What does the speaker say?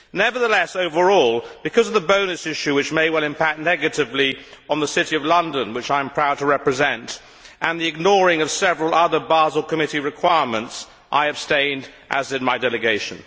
Nevertheless, overall, because of the bonus issue which may well impact negatively on the City of London which I am proud to represent and the ignoring of several other Basel Committee requirements, I abstained, as did my delegation.